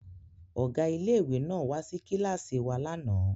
Ọ̀gá ilé ìwé náà wá sí kíláàsì wa lánàá